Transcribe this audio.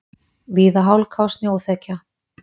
Víða hálka og snjóþekja